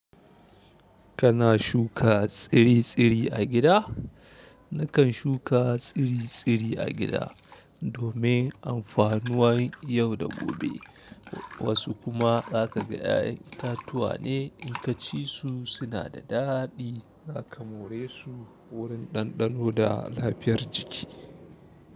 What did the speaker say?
Kana shuka tsiri-tsiri a gida? Nakan shuka tsiri-tsiri a gida domin amfanuwan yau da gobe. Wasu kuma zaka ga 'ya'yan itatuwa ne in kaci su suna da daɗi. Zaka more su wurin ɗanɗano da lafiyar jiki.